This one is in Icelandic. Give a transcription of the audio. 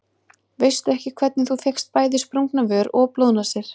Veistu ekki hvernig þú fékkst bæði sprungna vör og blóðnasir.